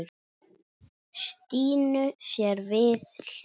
Stínu sér við hlið.